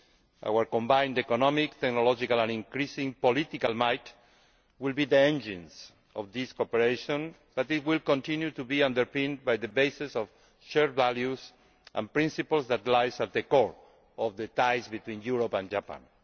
Our combined economic, technological and increasing political might will be the engines of this cooperation, but it will continue to be underpinned by the bases of shared values and principles that lie at the core of the ties between Europe and Japan.